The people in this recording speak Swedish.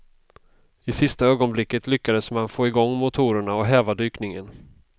I sista ögonblicket lyckades man få igång motorerna och häva dykningen.